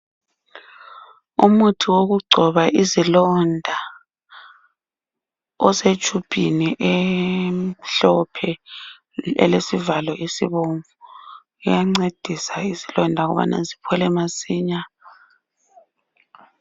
Umuthi wokungcoba izilonda osetshubhini emhlophe elesivalo esibomvu uyancedisa izilonda ukubana ziphole masinya.